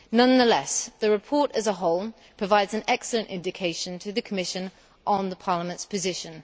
Nonetheless, the report as a whole provides an excellent indication to the Commission on Parliament's position.